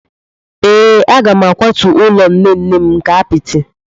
Ee, a ga m akwatu ụlọ nne nne m nke apịtị.